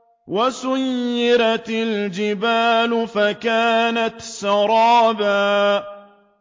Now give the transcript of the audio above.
وَسُيِّرَتِ الْجِبَالُ فَكَانَتْ سَرَابًا